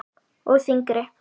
Og þyngri.